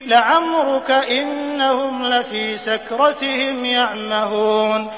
لَعَمْرُكَ إِنَّهُمْ لَفِي سَكْرَتِهِمْ يَعْمَهُونَ